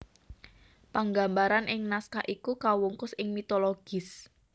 Panggambaran ing naskah iki kawungkus ing mitologis